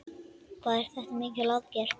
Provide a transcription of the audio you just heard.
Hvað er þetta mikil aðgerð?